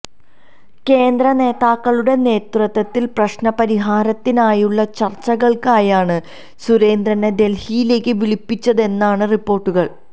കേന്ദ്ര നേതാക്കളുടെ നേതൃത്വത്തില് പ്രശ്ന പരിഹാരത്തിനായുള്ള ചര്ച്ചകള്ക്കായാണ് സുരേന്ദ്രനെ ഡല്ഹിയിലേക്കു വിളിപ്പിച്ചതെന്നാണ് റിപ്പോര്ട്ടുകള്